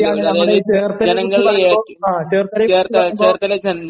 ശരിയാണ്, നമ്മുടെ ഈ ചേർത്തലയെക്കുറിച്ച് പറയുമ്പോ...